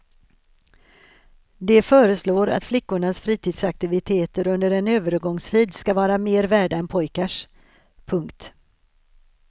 De föreslår att flickors fritidsaktiviteter under en övergångstid ska vara mera värda än pojkars. punkt